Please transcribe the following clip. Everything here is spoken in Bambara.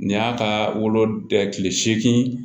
Nin y'a ka wolo seegin